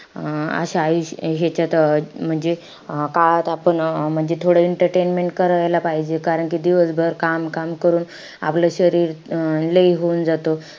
अं अशा आ~ ह्याच्यात म्हणजे अं काळात आपण म्हणजे थोडं entertainment करायला पाहिजे. कारण कि दिवसभर काम-काम करून आपलं शरीर अं लई होणं जातं.